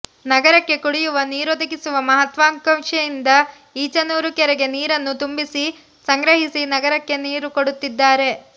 ನಗರಕ್ಕೆ ಕುಡಿಯುವ ನೀರೊದಗಿಸು ಮಹಾತ್ವಾಕಾಂಕ್ಷೆಯಿಂದ ಈಚನೂರು ಕೆರೆಗೆ ನೀರನ್ನು ತುಂಬಿಸಿ ಸಂಗ್ರಹಿಸಿ ನಗರಕ್ಕೆ ನೀರುಕೊಡುತ್ತಿದ್ದಾರೆ